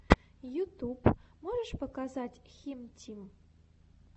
ютюб можешь показать хим тим